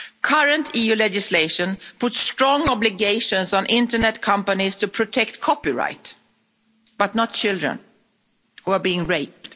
Current EU legislation puts strong obligations on internet companies to protect copyright but not children who are being raped.